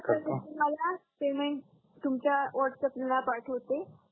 तुम्हाला पेमेंट तुमच्या व्हाटसापला पाठवते